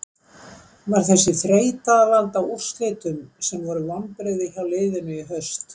Var þessi þreyta að valda úrslitum sem voru vonbrigði hjá liðinu í haust?